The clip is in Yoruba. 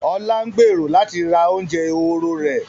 Ọlá ń gbèrò láti ra oúnjẹ ehoro rẹ̀